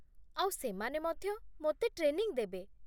ଆଉ ସେମାନେ ମଧ୍ୟ ମୋତେ ଟ୍ରେନିଂ ଦେବେ